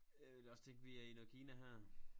Jeg ville også tænke vi er i noget Kina her